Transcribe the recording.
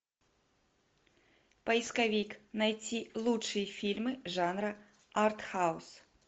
поисковик найти лучшие фильмы жанра артхаус